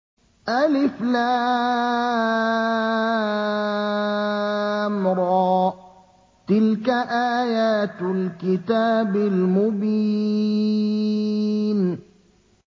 الر ۚ تِلْكَ آيَاتُ الْكِتَابِ الْمُبِينِ